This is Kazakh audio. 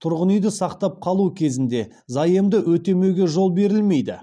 тұрғын үйді сақтап қалу кезінде заемды өтемеуге жол берілмейді